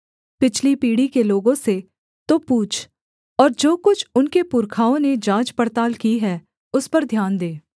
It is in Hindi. पिछली पीढ़ी के लोगों से तो पूछ और जो कुछ उनके पुरखाओं ने जाँच पड़ताल की है उस पर ध्यान दे